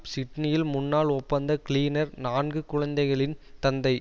சிட்னியில் முன்னாள் ஒப்பந்த கிளீனர் நான்கு குழந்தைகளின் தந்தை